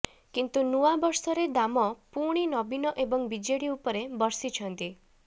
କିନ୍ତୁ ନୂଆ ବର୍ଷରେ ଦାମ ପୁଣି ନବୀନ ଏବଂ ବିଜେଡି ଉପରେ ବର୍ଷିଛନ୍ତି